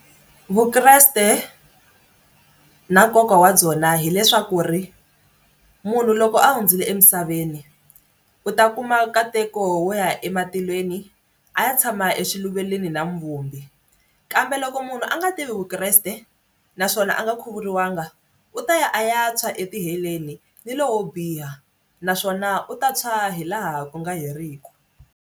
Vukreste na nkoka wa byona hileswaku ri munhu loko a hundzile emisaveni u ta kuma nkateko wo ya ematilweni a ya tshama exiluvelweni na muvumbi kambe loko munhu a nga tivi Vukreste naswona a nga khuvuriwanga u ta ya a ya ntshwa etiheleni ni lowo biha naswona u ta tshwa hi laha ku nga heriki.